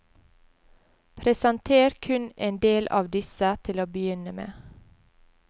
Presenter kun en del av disse til å begynne med.